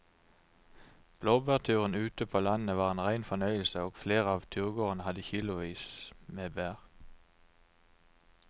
Blåbærturen ute på landet var en rein fornøyelse og flere av turgåerene hadde kilosvis med bær.